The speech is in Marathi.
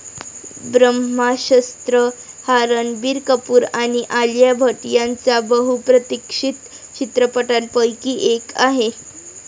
ब्रह्मास्त्र' हा रणबीर कपूर आणि आलिया भट यांचा बहुप्रतीक्षित चित्रपटांपैकी एक आहे.